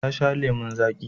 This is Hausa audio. Ta sha lemon zaƙi.